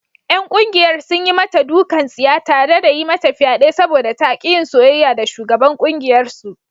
’Yan kungiyar sun yi mata dukan tsiya tare da yi mata fyade saboda ta ki yin soyayya da shugaban kungiyarsu.